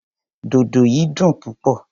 Dodo yìí dùn púpọ̀.